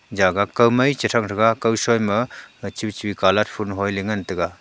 jaga kawmai chethrang taiga kawshoi ma choichoi colourfull hoiley ngan taiga.